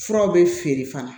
Furaw bɛ feere fana